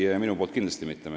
Ei, minu puhul kindlasti mitte.